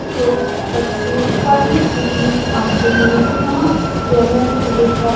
लोग बच्चे पढ़ने के लिए आते है यहां सेवन से लेकर --